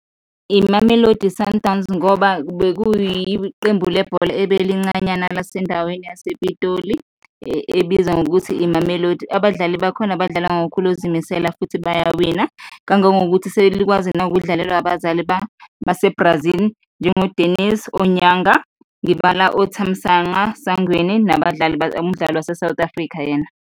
I-Mamelodi Sundowns ngoba bekuyiqembu lebhola ebelincanyana lasendaweni yasePitoli ebizwa ngokuthi i-Mamelodi, abadlali bakhona badlala ngokukhulu ukuzimisela futhi bayawina, kangangokuthi selikwazi nawukudlalelwa abazali base-Brazil njengo-Denis Onyanga, ngibala oThamsanqa Sangweni, nabadlali, umdlali wase-South Africa yena.